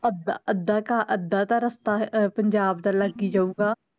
ਅੱਧਾ ਅੱਧਾ ਕੁ ਅੱਧਾ ਤਾਂ ਰਸਤਾ ਪੰਜਾਬ ਦਾ ਲੱਗ ਈ ਜਾਊਗਾ